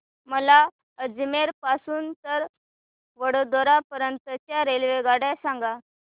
मला अजमेर पासून तर वडोदरा पर्यंत च्या रेल्वेगाड्या सांगा